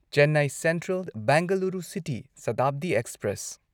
Chennai Central Bengaluru City Shatabdi express